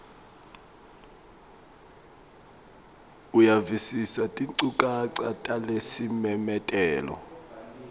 uyavisisa tinchukaca talesimemetelo